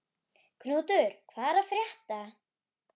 Knútur, hvað er að frétta?